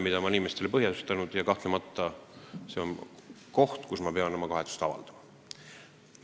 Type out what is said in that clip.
Ma olen inimestele põhjustanud ebamugavustunnet ja kahtlemata on see koht, kus ma pean oma kahetsust avaldama.